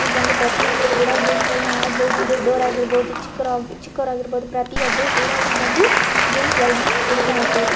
ಇಲ್ಲಿ ಬಂದು ಪ್ರತಿಯೊಂದು ಕೂಡ ಗೇಮ್ ಗಳನ್ನಾ ಆಡಬಹುದು ದೊಡ್ಡವರು ಆಗಿರಬಹುದು ಚಿಕ್ರೋ ಚಿಕ್ಕವ್ರು ಆಗಿರಬಹುದು ಪ್ರತಿಯೊಬ್ರು ಕೂಡ ಇಲ್ಲಿ ಬಂದು ಗೇಮ್ಸ್ ಗಳನ್ನಾ ಆಟ ಆಡಬಹುದು.